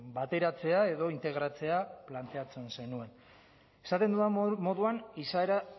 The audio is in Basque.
bateratzea edo integratzea planteatzen zenuen esaten dudan moduan izaera